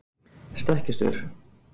stekkjarstaur